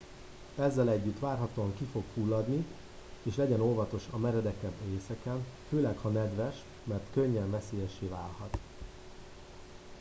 ezzel együtt várhatóan ki fog fulladni és legyen óvatos a meredekebb részeken főleg ha nedves mert könnyen veszélyessé válhat